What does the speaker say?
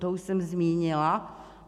To už jsem zmínila.